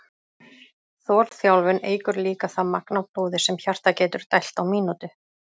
Þolþjálfun eykur líka það magn af blóði sem hjartað getur dælt á mínútu.